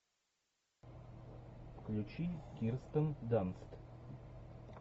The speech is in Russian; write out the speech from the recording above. включи кирстен данст